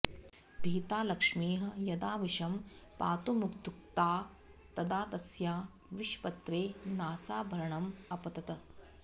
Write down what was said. भीता लक्ष्मीः यदा विषं पातुमुद्युक्ता तदा तस्या विषपत्रे नासाभरणम् अपतत्